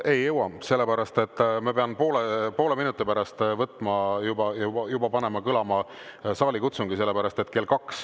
Ei jõua, sest ma pean juba poole minuti pärast panema kõlama saalikutsungi.